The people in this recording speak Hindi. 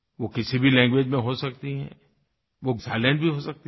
वो किसी भी लैंग्वेज में हो सकती है वो साइलेंट भी हो सकती है